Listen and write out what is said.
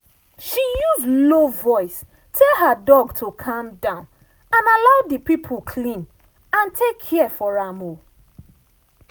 she use low voice tell her dog to calm down and allow the people clean and take care for am.